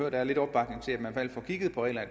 at der er lidt opbakning til at man får kigget på reglerne